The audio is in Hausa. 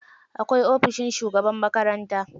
Akwai ofishin shugaban makaranta.